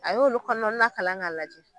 A y'olu kɔnɔ na kalan ka lajɛ.